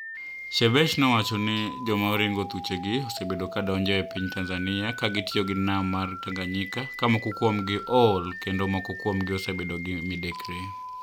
Shebesh nowacho nii, joma orinigo thuchegi osebedo ka donijo e piniy Tanizaniia ka gitiyo gi niam mar Taniganiyika, ka moko kuomgi ool kenido moko kuomgi osebedo gimidekre .